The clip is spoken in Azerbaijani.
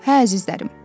Hə, əzizlərim.